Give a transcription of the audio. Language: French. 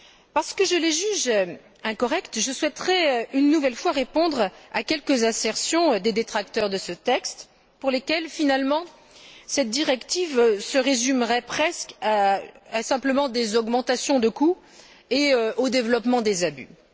Parce que je les juges incorrectes, je souhaiterais une nouvelle fois répondre à quelques assertions des détracteurs de ce texte, pour lesquels, finalement, cette directive se résumerait presque à des augmentations de coûts et au développement des abus.